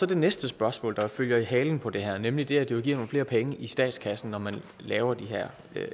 det næste spørgsmål der følger i halen på det her nemlig det at det vil give nogle flere penge i statskassen når man laver de her